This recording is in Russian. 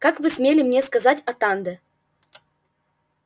как вы смели мне сказать атанде